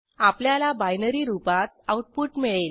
आपल्याला बायनरी रुपात आऊटपुट मिळेल